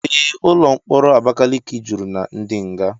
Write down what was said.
Ee, ụlọ mkpọrọ Abakaliki juru na ndi nga.